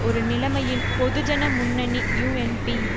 ஒரு நிலைமையில் பொதுஜன முன்னணி யூஎன்பி